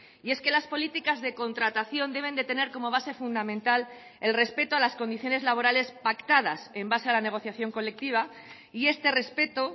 y es que las políticas de contratación deben de tener como base fundamental el respeto a las condiciones laborales pactadas en base a la negociación colectiva y este respeto